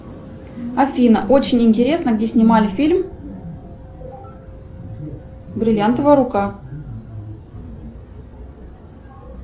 афина очень интересно где снимали фильм бриллиантовая рука